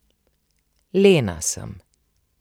Lena sem.